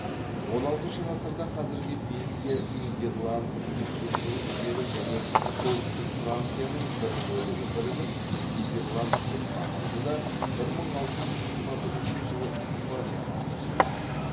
он алтыншы ғасырда қазіргі бельгия нидерланд люксембург жері және солтүстік францияның бір бөлігі бірігіп нидерланд деп аталды да бір мың алты жүз жиырма бірінші жылы испанияға қосылды